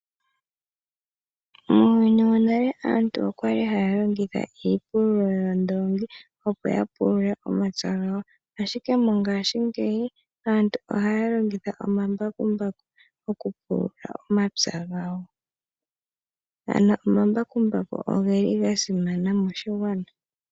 Muuyuni wonale aantu oya li haa longitha iipululo yoondoongi opo pulule omapya gawo, ashike methimbo lyongaashingeyi aantu ohaa longitha omambakumbaku. Omambakumbaku oga simana moshigwana.